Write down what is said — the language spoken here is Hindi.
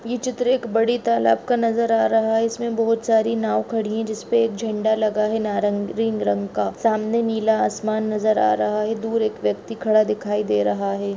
ये चित्र एक बड़े तालाब का नजर आ रहा है इसमें बोहोत सारी नांव खड़ी है जिस पे एक झंडा लगा है नारंगीरिंग रंग का सामने नीला आसमान नजर आ रहा है दूर एक व्यक्ति खड़ा दिखाई दे रहा है।